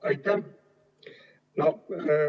Aitäh!